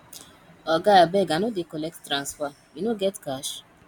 oga abeg i no dey collect transfer you no get cash